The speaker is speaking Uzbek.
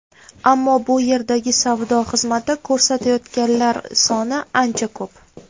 Ammo bu yerdagi savdo xizmati ko‘rsatayotganlar soni ancha ko‘p.